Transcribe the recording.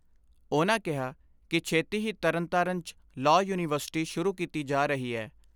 ਉਨ੍ਹਾਂ ਕਿਹਾ ਕਿ ਛੇਤੀ ਹੀ ਤਰਨਤਾਰਨ 'ਚ ' ਲਾਅ ਯੂਨੀਵਰਸਿਟੀ ' ਸ਼ੁਰੂ ਕੀਤੀ ਜਾ ਰਹੀ ਐ।